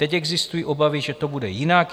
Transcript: Teď existují obavy, že to bude jinak.